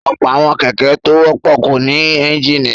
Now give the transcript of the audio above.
Ọ̀pọ̀ àwọn kẹ̀kẹ́ tó wọ́pọ̀ kò ní ẹ́ńjínì.